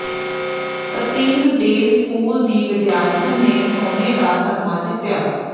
spring Del school ਦੀ ਵਿਦਿਆਰਥਣ ਨੇ ਸੋਨੇ ਦਾ ਤਗਮਾ ਜਿੱਤਿਆ